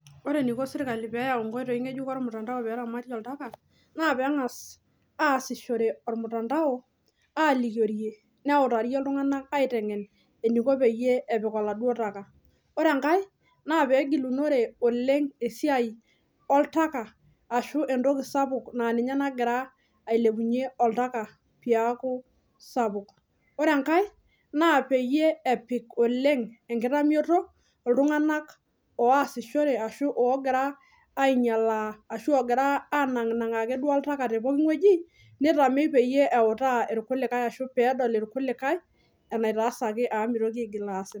Ore eniko sirkali peyau inkoitoi ng'ejuko ormtandao peramatie oltaka naa peeng'as aasishore ormtandao alikiorie neutarie iltung'anak aiteng'en eniko peyie epik oladuo taka ore enkae naa pegilunore oleng esiai oltaka ashu entoki sapuk naa ninye nagira ailepunyie oltaka piaku sapuk ore enkae naa peyie epik oleng enkitamioto iltung'anak oasishore ashu ogira ainyialaa ashu ogira anang'nang'aa akeduo oltaka te poki ng'ueji nitamei peyie eutaa irkulikae ashu peedol irkulikae enaitasaki amu mitoki aigil aas.